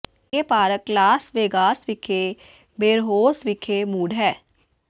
ਇਹ park Las Vegas ਵਿਖੇ ਬੇਰਹੌਸ ਵਿਖੇ ਮੂਡ ਹੈ